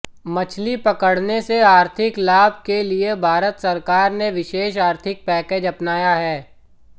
मछली पकड़ने से आर्थिक लाभ के लिए भारत सरकार ने विशेष आर्थिक पैकेज अपनाया है